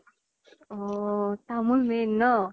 অহ তামোল main ন?